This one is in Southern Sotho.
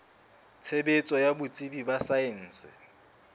tshebetso ya botsebi ba saense